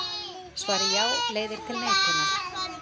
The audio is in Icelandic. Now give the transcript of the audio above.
Svarið já leiðir til neitunar.